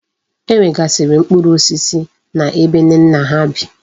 E nwegasiri mkpuru osisi na ebe Nnenna ha bi